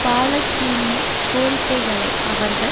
பாலஸ்தீனிய கோரிக்கைகளை அவர்கள்